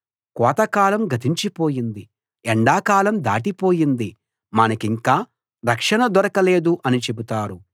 కోత కాలం గతించిపోయింది ఎండాకాలం దాటిపోయింది మనకింకా రక్షణ దొరకలేదు అని చెబుతారు